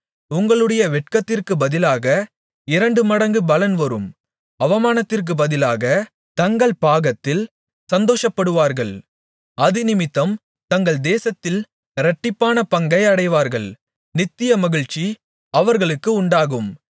உங்களுடைய வெட்கத்திற்குப் பதிலாக இரண்டு மடங்கு பலன் வரும் அவமானத்திற்குப் பதிலாகத் தங்கள் பாகத்தில் சந்தோஷப்படுவார்கள் அதினிமித்தம் தங்கள் தேசத்தில் இரட்டிப்பான பங்கை அடைவார்கள் நித்திய மகிழ்ச்சி அவர்களுக்கு உண்டாகும்